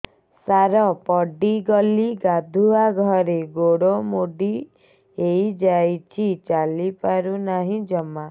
ସାର ପଡ଼ିଗଲି ଗାଧୁଆଘରେ ଗୋଡ ମୋଡି ହେଇଯାଇଛି ଚାଲିପାରୁ ନାହିଁ ଜମା